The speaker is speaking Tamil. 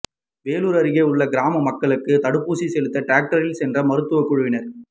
வேலூர் அருகே உள்ள மலைக்கிராம மக்களுக்கு தடுப்பூசி செலுத்த டிராக்டரில் சென்ற மருத்துவ குழுவினர்